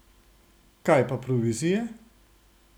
Kaj pa provizije?